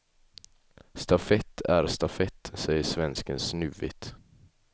Stafett är stafett, säger svensken snuvigt.